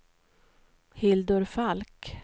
Hildur Falk